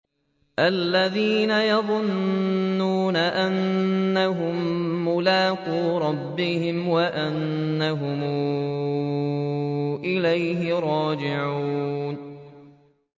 الَّذِينَ يَظُنُّونَ أَنَّهُم مُّلَاقُو رَبِّهِمْ وَأَنَّهُمْ إِلَيْهِ رَاجِعُونَ